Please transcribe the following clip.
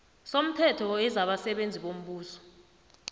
somthetho wezabasebenzi bombuso